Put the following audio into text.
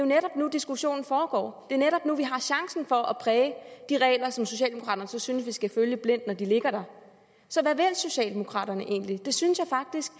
netop nu diskussionen foregår det er netop nu vi har chancen for at præge de regler som socialdemokraterne så synes vi skal følge blindt når de ligger der så hvad vil socialdemokraterne egentlig det synes jeg faktisk